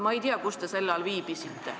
Ma ei tea, kus te sel ajal viibisite.